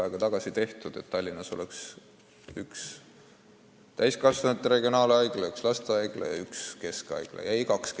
Ettepanek, et Tallinnas oleks üks täiskasvanute regionaalhaigla, üks lastehaigla ja üks keskhaigla, on tehtud juba pikka aega tagasi.